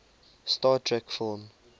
star trek film